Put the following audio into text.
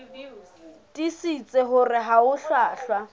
tiisitse hore ha ho hlwahlwa